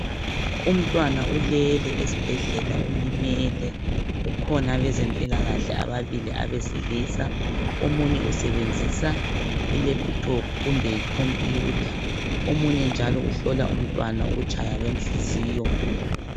Umntwana ulele esibhedlela ulimele kukhona abazempilakahle ababili abesilisa omunye usebenzisa I laptop kumbeyicomputha omunye njalo uhlola umntwana ukutsha kwenhliziyo